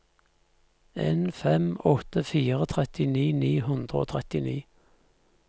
en fem åtte fire trettini ni hundre og trettini